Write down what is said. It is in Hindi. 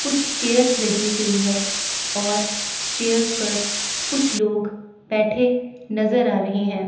कुछ चेयर्स लगी हुई है और चेयर्स पर कुछ लोग बैठे नजर आ रहे हैं।